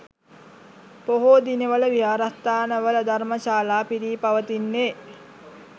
පොහෝ දිනවල විහාරස්ථානවල ධර්මශාලා පිරී පවතින්නේ